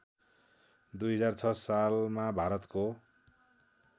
२००६ सालमा भारतको